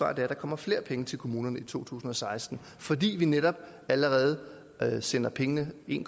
at der kommer flere penge til kommunerne i to tusind og seksten fordi vi netop allerede sender pengene en